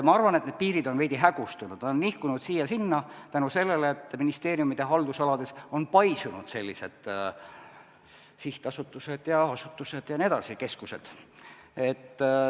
Ma arvan, et need piirid on veidi hägustunud, nad on nihkunud siia-sinna tänu sellele, et ministeeriumide haldusalades on paisunud sihtasutused, asutused, keskused.